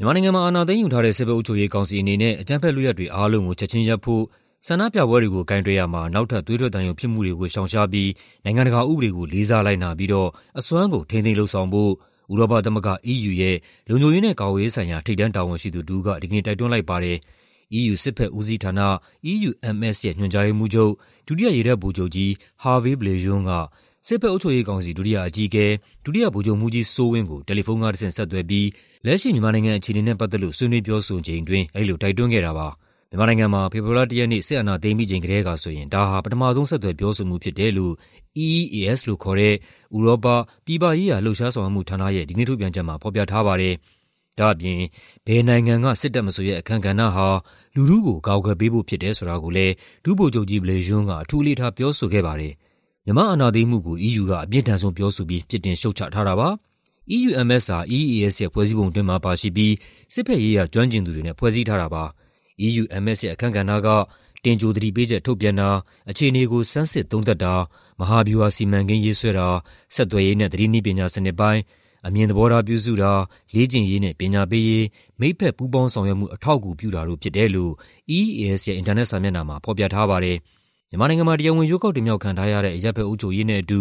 မြန်မာနိုင်ငံမှာ အာဏာသိမ်းယူထားတဲ့ စစ်ဘက်အုပ်ချုပ်ရေးကောင်စီအနေနဲ့ အကြမ်းဖက်လုပ်ရပ်တွေအားလုံးကို ချက်ခြင်းရပ်ဖို့၊ ဆန္ဒပြပွဲတွေကို ကိုင်တွယ်ရာမှာ နောက်ထပ် သွေးထွက်သံယိုဖြစ်မှုတွေကို ရှောင်ရှားပြီး နိုင်ငံတကာဥပဒေကို လေးစားလိုက်နာပြီးတော့ အစွမ်းကုန် ထိန်းသိမ်းလုပ်ဆောင်ဖို့ ဥရောပသမဂ္ဂ (EU) ရဲ့ လုံခြုံရေးနဲ့ကာကွယ်ရေးဆိုင်ရာ ထိပ်တန်းတာဝန်ရှိသူတစ်ဦးက ဒီကနေ့ တိုက်တွန်းလိုက်ပါတယ်။ EU စစ်ဘက်ဦးစီးဌာန (EUMS) ရဲ့ ညွှန်ကြားရေးမှူးချုပ်၊ ဒုတိယ ရေတပ်ဗိုလ်ချုပ်ကြီး Hervé Bléjean က စစ်ဘက် အုပ်ချုပ်ရေးကောင်စီ ဒုတိယအကြီးအကဲ၊ ဒုတိယဗိုလ်ချုပ်မှူးကြီးစိုးဝင်းကို တယ်လီဖုန်းကတဆင့် ဆက်သွယ်ပြီး လက်ရှိ မြန်မာနိုင်ငံအခြေအနေနဲ့ပတ်သက်လို့ ဆွေးနွေးပြောဆိုချိန်အတွင်း အဲဒီလို တိုက်တွန်းခဲ့တာပါ။ မြန်မာနိုင်ငံမှာ ဖေဖော်ဝါရီလ ၁ ရက်နေ့ စစ်အာဏာသိမ်းပြီးချိန်ကတည်းကဆိုရင် ဒါဟာ ပထမဆုံး ဆက်သွယ် ပြောဆိုမှုဖြစ်တယ်လို့ EEAS လို့ခေါ်တဲ့ ဥရောပ ပြည်ပရေးရာ လှုပ်ရှားဆောင်ရွက်မှုဌာနရဲ့ဒီကနေ့ထုတ်ပြန်ချက်မှာ ဖော်ပြထားပါတယ်။ ဒါ့အပြင် ဘယ်နိုင်ငံက စစ်တပ်မဆိုရဲ့ အခန်းကဏ္ဍဟာ လူထုကို အကာအကွယ်ပေးဖို့ဖြစ်တယ် ဆိုတာကိုလည်း ဒုဗိုလ်ချုပ်ကြီး Bléjean အထူးအလေးထား ပြောဆိုခဲ့ပါတယ်။ မြန်မာ့အာဏာသိမ်းမှုကို EU က အပြင်းထန်ဆုံးပြောဆိုပြီး ပြစ်တင် ရှုတ်ချထားတာပါ။ EUMS ဟာ EEAS ရဲ့ဖွဲ့စည်းပုံအတွင်းမှာပါရှိပြီး စစ်ဘက်ရေးရာ ကျွမ်းကျင်သူတွေနဲ့ ဖွဲ့စည်းထားတာပါ။ EUMS ရဲ့ အခန်းကဏ္ဍက တင်ကြိုသတိပေးချက် ထုတ်ပြန်တာ၊ အခြေအနေကို ဆန်းစစ်သုံးသပ်တာ၊ မဟာဗျူဟာစီမံကိန်းရေးဆွဲတာ၊ ဆက်သွယ်ရေးနဲ့ သတင်းနည်းပညာစနစ်ပိုင်း၊ အမြင်သဘောထား ပြုစုတာ၊ လေ့ကျင့်ရေးနဲ့ ပညာပေးရေး၊ မိတ်ဘက်ပူးပေါင်းဆောင်ရွက်မှု အထောက်အကူပြုတာတို့ဖြစ်တယ်လို့ EEAS ရဲ့ အင်တာနက်စာမျက်နှာမှာ ဖော်ပြထားပါတယ်။ မြန်မာနိုင်ငံမှာ တရားဝင် ရွေးကောက်တင်မြှောက်ခံထားရတဲ့ အရပ်ဘက်အုပ်ချုပ်ရေးနဲ့အတူ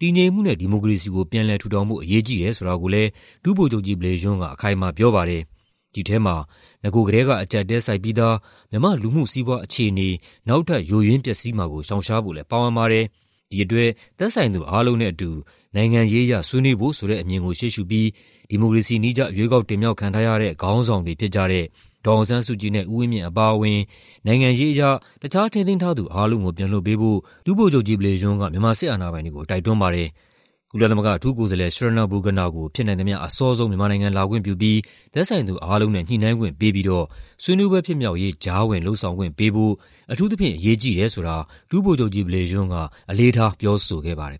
တည်ငြိမ်မှုနဲ့ ဒီမိုကရေစီကို ပြန်လည်ထူထောင်ဖို့ အရေးကြီးတယ်ဆိုတာကိုလည်း ဒုဗိုလ်ချုပ်ကြီး Bléjean က အခိုင်အမာပြောပါတယ်။ ဒီထဲမှာ နဂိုကတည်းက အကြပ်အတည်းဆိုက်ပြီးသား မြန်မာ့လူမှုစီးပွားအခြေအနေ နောက်ထပ် ယိုယွင်းပျက်စီးမှာကို ရှောင်ရှားဖို့လည်း ပါဝင်ပါတယ်။ ဒီအတွက် သက်ဆိုင်သူအားလုံးနဲ့အတူ နိုင်ငံရေးအရ ဆွေးနွေးဖို့ဆိုတဲ့အမြင်ကို ရှေးရှုပြီး ဒီမိုကရေစီနည်းကျ ရွေးကောက်တင်မြှောက်ခံထားရတဲ့ ခေါင်းဆောင်တွေဖြစ်ကြတဲ့ ဒေါ်အောင်ဆန်းစုကြည်နဲ့ ဦးဝင်းမြင့်အပါအဝင် နိုင်ငံရေးအရ တခြားထိန်းသိမ်းထားသူအားလုံးကို ပြန်လွှတ်ပေးဖို့ ဒုဗိုလ်ချုပ်ကြီး Bléjean က မြန်မာစစ်အာဏာပိုင်တွေကို တိုက်တွန်းပါတယ်။ ကုလသမဂ္ဂအထူးကိုယ်စားလှယ် Schraner Burgener ကို ဖြစ်နိုင်သမ ျှအစောဆုံး မြန်မာနိုင်ငံလာခွင့်ပြုပြီး သက်ဆိုင်သူအားလုံးနဲ့ ညှိနှိုင်းခွင့်ပေးပြီးတော့ ဆွေးနွေးပွဲဖြစ်မြောက်ရေး ကြားဝင်လုပ်ဆောင်ခွင့်ပေးဖို့ အထူးသဖြင့် အရေးကြီးတယ်ဆိုတာ ဒုဗိုလ်ချုပ်ကြီး Bléjean က အလေးထားပြောဆိုခဲ့ပါတယ်